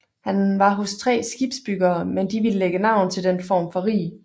Han var hos tre skibsbygger men de ville lægge navn til den form for rig